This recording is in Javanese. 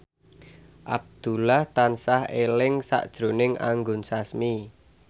Abdullah tansah eling sakjroning Anggun Sasmi